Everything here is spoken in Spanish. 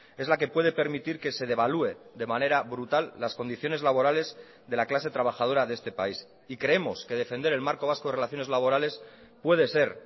es la que puede permitir que se devalúe de manera brutal las condiciones laborales de la clase trabajadora de este país y creemos que defender el marco vasco de relaciones laborales puede ser